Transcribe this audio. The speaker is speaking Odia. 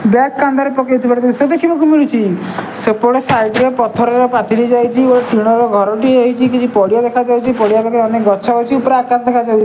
ବ୍ୟାଗ କାନ୍ଧରେ ପକାଇଥିବାର ଜିନିଷ ଦେଖିବାକୁ ମିଳିଛି ସେପଟେ ସାଇଟ ରେ ପଥରର ପାଚିରି ଯାଇଚି ଗୋଟେ ଟିଣର ଘରଟିଏ ହେଇଚି କିଛି ପଡିଆ ଦେଖାଯାଉଚି ପଡିଆ ପାଖେ ଅନେକ ଗଛ ଅଛି ପୁରା ଆକାଶ ଦେଖାଯାଉଚି।